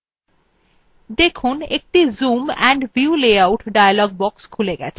দেখুন একটি zoom and view layout dialog box খুলে গেছে